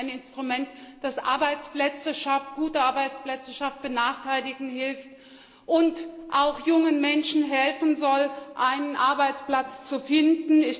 Wir haben ein Instrument, das Arbeitsplätze schafft, gute Arbeitsplätze schafft, Benachteiligten hilft und auch jungen Menschen helfen soll, einen Arbeitsplatz zu finden.